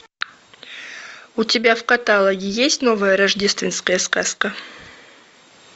у тебя в каталоге есть новая рождественская сказка